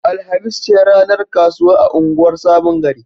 Alhamis ce ranar kasuwa a unguwar Sabon Gari.